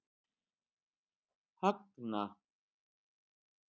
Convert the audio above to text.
Högna